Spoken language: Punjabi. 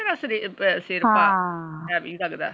heavy ਲਗਦਾ ਤੇਰਾ ਸਿਰਿ ਸਿਰ ਭਾਰਾ ਹਾਂ।